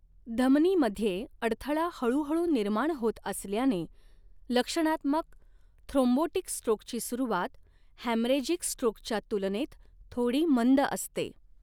धमनीमध्ये अडथळा हळूहळू निर्माण होत असल्याने, लक्षणात्मक थ्रोम्बोटिक स्ट्रोकची सुरुवात हॅमरेजिक स्ट्रोकच्या तुलनेत थोडी मंद असते.